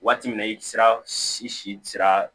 Waati min na i sera si si sera